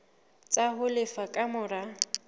tsa ho lefa ka mora